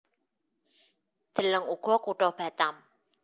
Deleng uga Kutha Batam